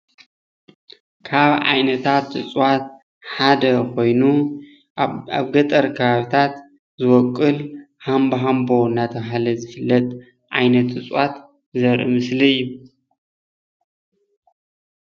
ካብ ዓይነታት እፅዋት ሓደ ኮይኑ ኣብ ገጠር ከባቢታትዝቦቅል ሃምባሃምቦ እናተባሃለ ዝፍለጥ ዓይነት እፅዋት ዘርኢ ምስሊ እዩ፡፡